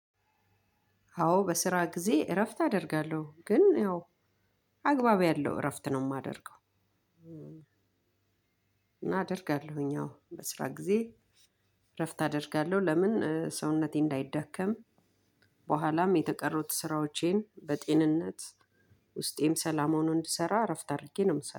አዎ በስራ ጊዜ እረፍት አደርጋለሁ ግን ያው አግባብ ያለው እረፍት ነው የማደርገው። እና አደርጋለሁኝ አዎ በስራ ጊዜ እረፍት አደርጋለው። ለምን ሰውነቴ እንዳይዳከም በኋላም የተቀሩት ስራዎቼን በጤንነት ውስጤም ሰላማውን እንድሰራ አረፍተ አድርጌ ነው የምሰራው